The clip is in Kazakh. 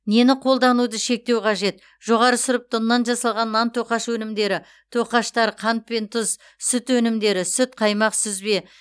нені қолдануды шектеу қажет жоғары сұрыпты ұннан жасалған нан тоқаш өнімдері тоқаштар қант пен тұз сүт өнімдері сүт қаймақ сүзбе